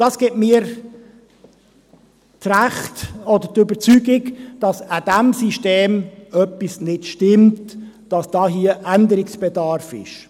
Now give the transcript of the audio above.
Das gibt mir das Recht oder die Überzeugung, dass an diesem System etwas nicht stimmt, dass hier Änderungsbedarf besteht.